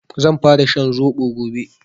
Zan fara shan zobo gobe